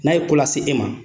N'a ye ko lase e ma